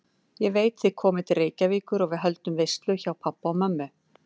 Ég veit, þið komið til Reykjavíkur og við höldum veislu hjá pabba og mömmu